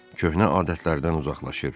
Köhnə adətlərdən uzaqlaşır.